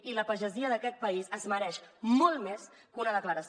i la pagesia d’aquest país es mereix molt més que una declaració